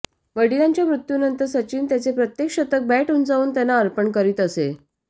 वडिलांच्या मृत्यूनंतर सचिन त्याचे प्रत्येक शतक बॅट उंचावून त्यांना अर्पण करीत असे